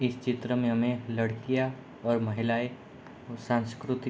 इस चित्र में हमें लड़कियां और महिलायें को सांस्कृति --